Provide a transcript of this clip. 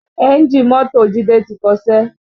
Ẹ́ńjì mọ́tò jide ti kọṣẹ́